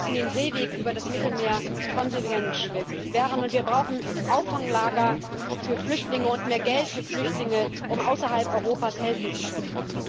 Wir müssen den Seeweg über das Mittelmeer konsequent sperren, und wir brauchen Auffanglager für Flüchtlinge und mehr Geld für Flüchtlinge, um außerhalb Europas helfen zu können.